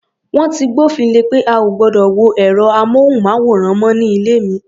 Wọ́n ti gbófin le pé a ò gbọdọ̀ wo ẹ̀rọ-amóhùnmáwòrán mọ́ ní ilé mi.